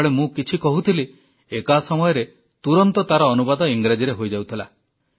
ଯେତେବେଳେ ମୁଁ କିଛି କହୁଥିଲି ଏକା ସମୟରେ ତୁରନ୍ତ ତାର ଅନୁବାଦ ଇଂରାଜୀରେ ହୋଇଯାଉଥିଲା